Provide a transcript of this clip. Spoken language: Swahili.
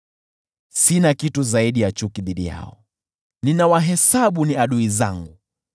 Sina kitu zaidi ya chuki dhidi yao, ninawahesabu ni adui zangu.